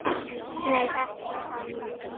Nei, ekki hann ég.